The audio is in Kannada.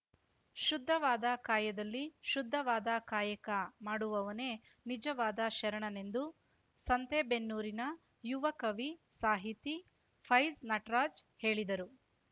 ಶುದ್ಧವಾದ ಕಾಯದಲ್ಲಿ ಶುದ್ಧವಾದ ಕಾಯಕ ಮಾಡುವವನೇ ನಿಜವಾದ ಶರಣನೆಂದು ಸಂತೇಬೆನ್ನೂರಿನ ಯುವ ಕವಿ ಸಾಹಿತಿ ಫೈಜ್ ನಟ್ರಾಜ್‌ ಹೇಳಿದರು